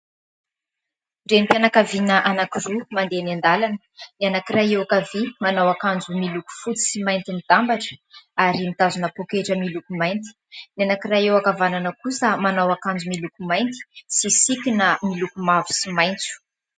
Renim-pianankaviana anankiroa mandeha eny an-dalana. Ny anankiray eo ankavia manao akanjo miloko fotsy sy mainty mitambatra ary mitazona poaketra miloko mainty ; ny anankiray eo ankavanana kosa manao akanjo miloko mainty sy sikina miloko mavo sy maitso.